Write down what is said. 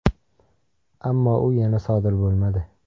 Ammo u yana sodir bo‘lmadi.